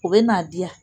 U bɛ n'a diya